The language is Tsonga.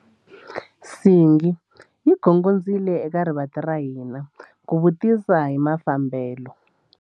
Nsingi yi gongondzile eka rivanti ra hina ku vutisa hi mafambelo.